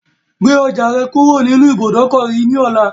Gbe ọjà rẹ kúrò nínú ibùdókọ̀ yìí ni ọ̀la!